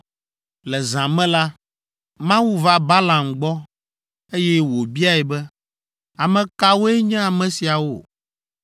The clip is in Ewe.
Le zã me la, Mawu va Balaam gbɔ, eye wòbiae be, “Ame kawoe nye ame siawo?”